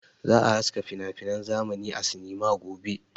Za a haska finafinan zamani a sinima gobe.